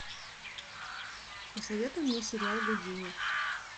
посоветуй мне сериал гудини